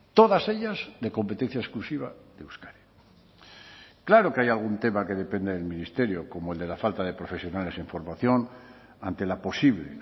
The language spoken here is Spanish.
todas ellas de competencia exclusiva de euskadi claro que hay algún tema que depende del ministerio como el de la falta de profesionales en formación ante la posible